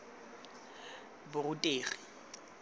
borutegi